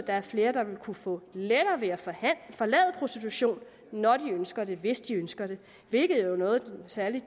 er flere der vil kunne få lettere ved at forlade prostitution når de ønsker det hvis de ønsker det hvilket jo er noget særlig